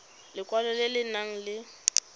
lekwalo le le nang le